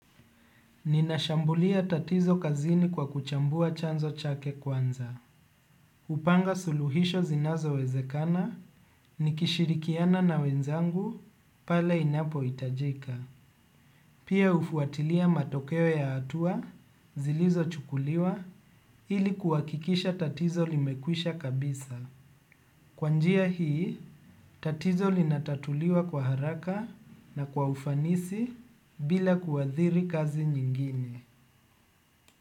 Ninashambulia tatizo kazini kwa kuchambua chanzo chake kwanza. Kupanga suluhisho zinazowezekana, nikishirikiana na wenzangu, pale inapohitajika. Pia hufuatilia matokeo ya hatua, zilizochukuliwa, ili kuhakikisha tatizo limekwisha kabisa. Kwa njia hii, tatizo linatatuliwa kwa haraka na kwa ufanisi bila kuathiri kazi nyingine.